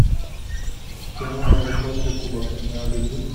кино гарри поттер и кубок огня вруби